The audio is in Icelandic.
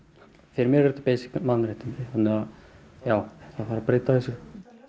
fyrir mér eru þetta beisik mannréttindi það þarf að breyta þessu